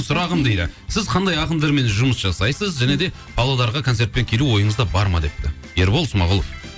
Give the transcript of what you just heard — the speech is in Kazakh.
сұрағым дейді сіз қандай ақындармен жұмыс жасайсыз және де павлодарға концертпен келу ойыңызда бар ма депті ербол смағұлов